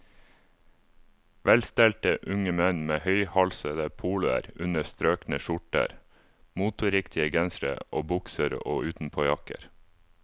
Velstelte unge menn med høyhalsede poloer under strøkne skjorter, moteriktige gensere og bukser og utenpåjakker.